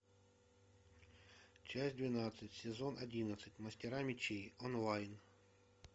часть двенадцать сезон одиннадцать мастера мечей онлайн